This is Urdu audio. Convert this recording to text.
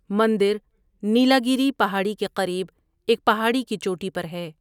مندر نیلاگیری پہاڑی کے قریب ایک پہاڑی کی چوٹی پر ہے۔